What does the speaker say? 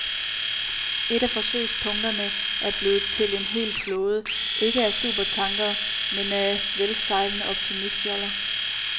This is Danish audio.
Et af forsøgspunkterne er blevet til en hel flåde, ikke af supertankere, men af velsejlende optimistjoller.